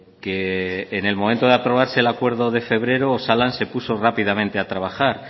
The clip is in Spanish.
que en el momento de aprobarse el acuerdo de febrero osalan se puso rápidamente a trabajar